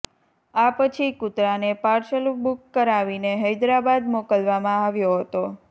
આ પછી કૂતરાને પાર્સલ બુક કરાવીને હૈદરાબાદ મોકલવામાં આવ્યો હતો